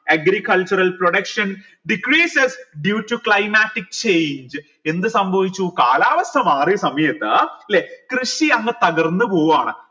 agricultural production decreases due to climatic change എന്ത് സംഭവിച്ചു കാലാവസ്ഥ മാറിയ സമയത്ത് ല്ലെ കൃഷി അങ്ങ് തകർന്ന് പോവൂആണ്